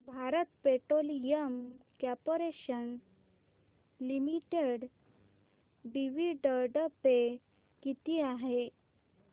Bharat Petroleum Corporation Limited dividend pay किती आहे